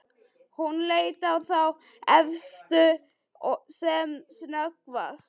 Hún leit á þá efstu sem snöggvast.